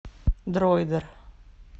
дроидер